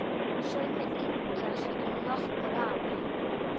Sumir yngjast um nokkur ár.